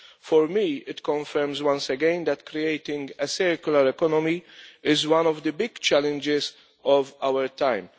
For me, it confirms once again that creating a circular economy is one of the big challenges of our time.